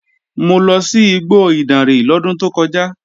Mo lọ sí igbó Ìdànrè lọ́dún tó kọjá